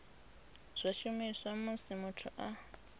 zwa shumiswa musi muthu a